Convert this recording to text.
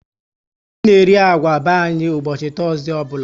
Anyị na eri agwa be anyị ụbọchị Tọzdee ọbụla